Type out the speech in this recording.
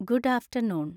good afternoon